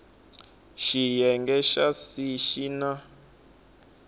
xiyenge xa c xi na